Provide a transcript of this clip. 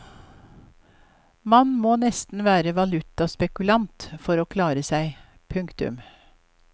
Man må nesten være valutaspekulant for å klare seg. punktum